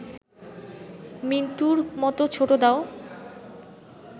মিন্টুর মত ছোটদাও